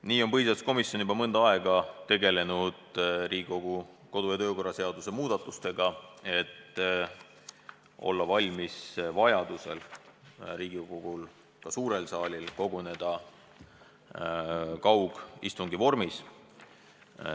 Nii on põhiseaduskomisjon juba mõnda aega tegelenud Riigikogu kodu- ja töökorra seaduse muudatustega, et olla valmis vajadusel Riigikogul, ka suurel saalil koguneda kaugistungi vormis.